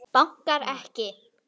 Bankar ekki.